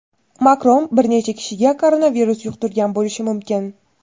Makron bir necha kishiga koronavirus yuqtirgan bo‘lishi mumkin.